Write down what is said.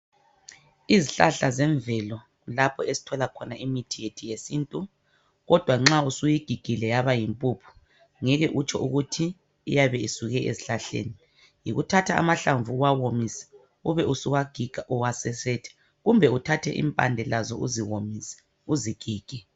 Izihlahla zemvelo kulapho esithola khona imithi yethu yesintu ,kodwa nxa usuyigigile yaba yimpuphu ngeke utsho ukuthi iyabe isuke ezihlahleni. Yikuthatha amahlamvu uwahomise ,ube usuwagiga uwasesethe kumbe uthathe impande lazo uzihomise uzigige.